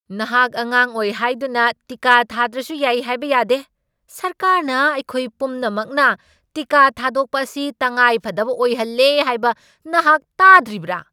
ꯅꯍꯥꯛ ꯑꯉꯥꯡ ꯑꯣꯏ ꯍꯥꯏꯗꯨꯅ ꯇꯤꯀꯥ ꯊꯥꯗ꯭ꯔꯁꯨ ꯌꯥꯏ ꯍꯥꯏꯕ ꯌꯥꯗꯦ꯫ ꯁꯔꯀꯥꯔꯅ ꯑꯩꯈꯣꯏ ꯄꯨꯝꯅꯃꯛꯅ ꯇꯤꯀꯥ ꯊꯥꯗꯣꯛꯄ ꯑꯁꯤ ꯇꯉꯥꯏꯐꯗꯕ ꯑꯣꯏꯍꯜꯂꯦ ꯍꯥꯏꯕ ꯅꯍꯥꯛ ꯇꯥꯗ꯭ꯔꯤꯕ꯭ꯔꯥ?